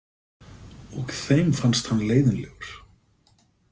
Og þeim fannst hann leiðinlegur.